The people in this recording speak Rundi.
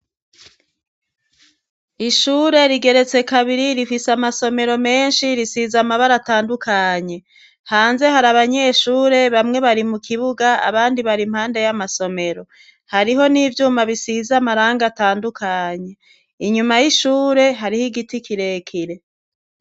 Ishure rigeretse kabiri rifise amasomero menshi risiza amabara atandukanye hanze hari abanyeshure bamwe bari mu kibuga abandi bari impande y'amasomero hariho n'ivyuma bisiza amaranga atandukanye inyuma y'ishure hariho igiti kirekire.